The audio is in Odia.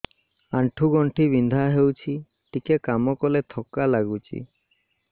ଆଣ୍ଠୁ ଗଣ୍ଠି ବିନ୍ଧା ହେଉଛି ଟିକେ କାମ କଲେ ଥକ୍କା ଲାଗୁଚି